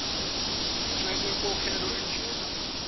ingxenye yenkokhelo enjena